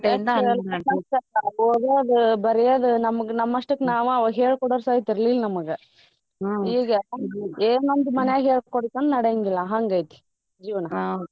ಓದೋದ ಬರಿಯೋದ ನಮಗ್ ನಮ್ಮಷ್ಟಕ್ ನಾವ ಅವಗ್ ಹೇಳ್ಕೊಡೋರ್ ಸೈತ್ ಇರ್ಲಿಲ್ ನಮಗ. ಈಗ ಏನೊಂದ್ ಮಾನ್ಯಗ್ ಹೇಳ್ಕೊಡ್ಲಿಕ್ಕಂದ್ರ್ ನಡ್ಯಂಗಿಲ್ಲ ಹಂಗೈತಿ ಜೀವ್ನ .